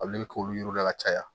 Olu de bɛ k'olu yiriw la ka caya